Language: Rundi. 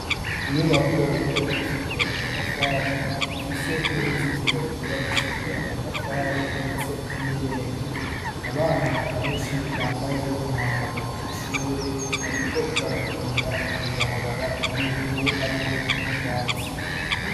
Inyubako yubakishije amatafari, ifise n'uruzitiro rwubakishije amatafari ndetse n'irembo, abana benshi bambaye umwambaro w'ishure bariko barakinira mw' ibarabara ry'ivu harimwo n'utwatsi.